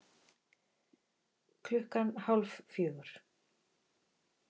Klukkan hálf fjögur